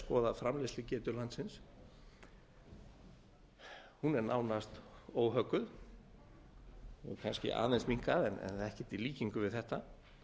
skoða framleiðslugetu landsins hún er nánast óhögguð hefur kannski aðeins minnkað en ekkert í líkingu við þetta